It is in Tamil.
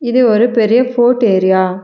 இது ஒரு பெரிய ஃபோர்ட் ஏரியா .